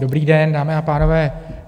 Dobrý den, dámy a pánové.